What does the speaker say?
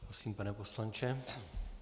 Prosím, pane poslanče.